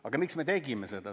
Aga miks me tegime seda?